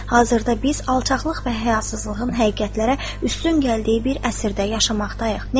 Hazırda biz alçaqlıq və həyasızlığın həqiqətlərə üstün gəldiyi bir əsrdə yaşamaqdayıq.